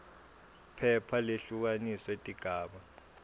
phepha lehlukaniswe tigaba